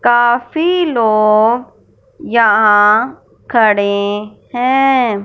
काफी लोग यहां खड़े है।